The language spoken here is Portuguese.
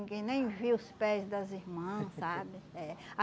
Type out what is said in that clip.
Ninguém nem via os pés das irmãs, sabe? É.